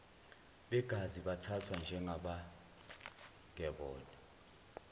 begazi bathathwa njengabangebona